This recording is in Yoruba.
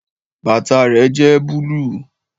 Bàtà rẹ jẹ́ búlúù